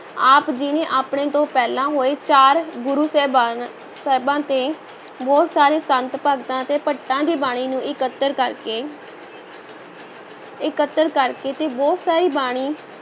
ਆਪ ਜੀ ਨੇ ਆਪਣੇ ਤੋਂ ਪਹਿਲਾਂ ਹੋਏ ਚਾਰ ਗੁਰੂ ਸਾਹਿਬਾਨ ਸਾਹਿਬਾਂ ਤੇ ਬਹੁਤ ਸਾਰੇ ਸੰਤ-ਭਗਤਾਂ ਅਤੇ ਭੱਟਾਂ ਦੀਆਂ ਬਾਣੀਆਂ ਨੂੰ ਇਕੱਤਰ ਕਰ ਕੇ ਇਕੱਤਰ ਕਰਕੇ ਤੇ ਬਹੁਤ ਸਾਰੀ ਬਾਣੀ